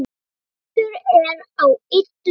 Frestur er á illu bestur!